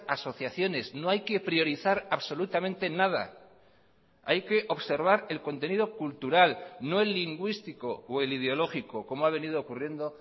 asociaciones no hay que priorizar absolutamente nada hay que observar el contenido cultural no el lingüístico o el ideológico como ha venido ocurriendo